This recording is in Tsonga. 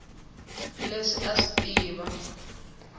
leswi a a swi tiva